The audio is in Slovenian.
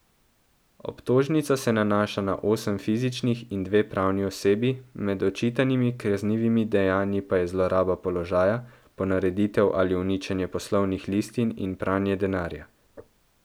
Obtožnica se nanaša na osem fizičnih in dve pravni osebi, med očitanimi kaznivimi dejanji pa je zloraba položaja, ponareditev ali uničenje poslovnih listin in pranje denarja.